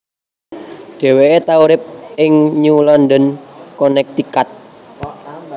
Dheweke tau urip ing New London Connecticut